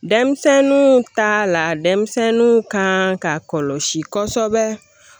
Denmisɛnninw ta la denmisɛnninw kan ka kɔlɔsi kosɛbɛ